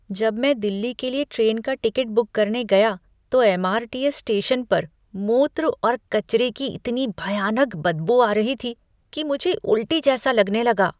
जब मैं दिल्ली के लिए ट्रेन का टिकट बुक करने गया तो एम.आर.टी.एस. स्टेशन पर मूत्र और कचरे की इतनी भयानक बदबू आ रही थी कि मुझे उल्टी जैसा लगने लगा।